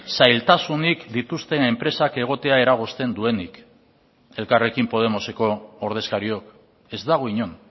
zailtasunik dituzten enpresak egotea eragozten duenik elkarrekin podemoseko ordezkariok ez dago inon